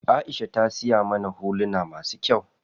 Aisha ta siya mana huluna masu kyau.